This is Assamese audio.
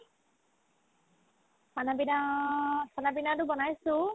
khana pina khana pina তো বনাইছো